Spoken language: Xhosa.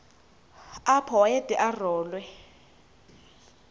apho wayede arolwe